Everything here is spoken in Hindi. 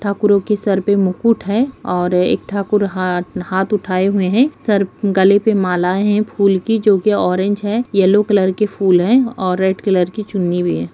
ठाकुरों के सर पे मुकुट है और एक ठाकुर हाथ हाथ उठाए हुए हैं सर गले पे माला है फूल की जो की ऑरेंज है येलो कलर की फूल है और रेड कलर की चुन्नी भी है।